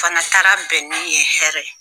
Fana taara bɛn ni ye hɛrɛ ye.